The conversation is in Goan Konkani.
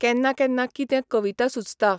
केन्ना केन्ना कितें कविता सुचता.